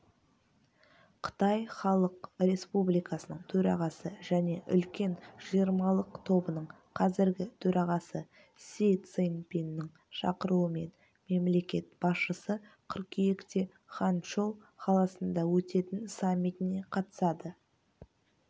қытай халық республикасының төрағасы және үлкен жиырмалық тобының қазіргі төрағасы си цзиньпиннің шақыруымен мемлекет басшысы қыркүйекте ханчжоу қаласында өтетін саммитіне қатысады